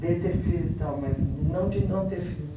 De ter filhos e tal, mas não de não ter filhos.